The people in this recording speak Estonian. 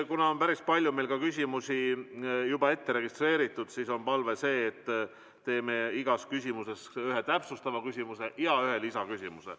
Kuna on päris palju küsimusi juba ette registreeritud, siis on palve, et esitame iga põhiküsimuse korral ühe täpsustava küsimuse ja ühe lisaküsimuse.